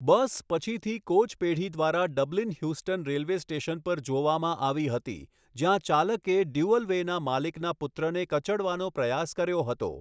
બસ પછીથી કોચ પેઢી દ્વારા ડબલિન હ્યુસ્ટન રેલ્વે સ્ટેશન પર જોવામાં આવી હતી, જ્યાં ચાલકે ડ્યુઅલવેના માલિકના પુત્રને કચડવાનો પ્રયાસ કર્યો હતો.